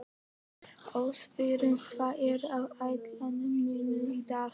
Ósvífur, hvað er á áætluninni minni í dag?